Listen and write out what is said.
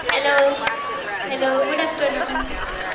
Hello hello good afternoon